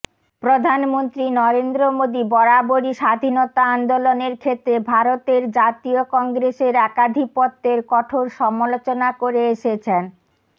প্রধানমন্ত্রী নরেন্দ্র মোদী বরাবরই স্বাধীনতা আন্দোলনের ক্ষেত্রে ভারতের জাতীয় কংগ্রেসের একাধিপত্যের কঠোর সমালোচনা করে এসেছেন